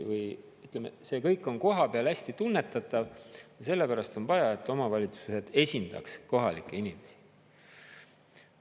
Ütleme, see kõik on kohapeal hästi tunnetatav ja sellepärast on vaja, et omavalitsused esindaks kohalikke inimesi.